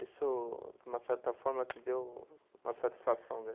Isso, de uma certa forma, te deu uma satisfação, né?